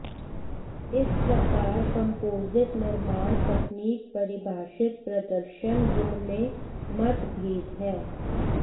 इस प्रकार कंपोजिट निर्माण तकनीक परिभाषित प्रदर्शन गुण में मतभेद है